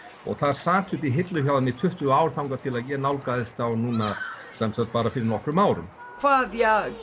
og það sat uppi í hillu hjá þeim í tuttugu ár þangað til að ég nálgaðist þá núna fyrir nokkrum árum hvað